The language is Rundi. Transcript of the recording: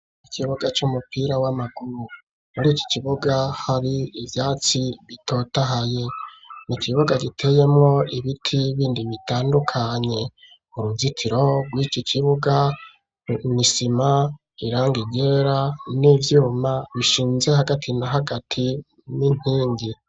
Ikibuga c'umupira w'amaguru muri iki kibuga hari ivyatsi bitotahaye ni kibuga giteyemwo ibiti bindi bitandukanye uruzitiro rwiki kibuga n'isima irangi ryera n'ivyuma bishinze hagati na hagati n'inkingi